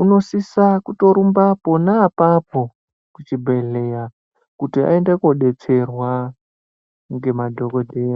unosisa kutorumba pona apapo kuchibhehleya kuti ayende kodetserwa ngemadhokoteya.